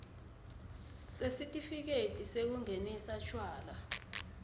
sesitifiketi sekungenisa tjwala